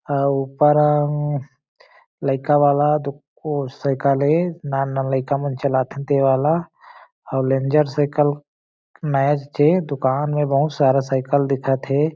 अउ ऊपर अंग लइका वाला दुक ओ सयकल ए नान नान लइका मन चलात हे ते वाला अउ रेंजर सयकल नया च ए दुकान में बहुत सारा सयकल दिखत हे।